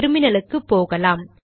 டெர்மினலுக்கு போகலாம்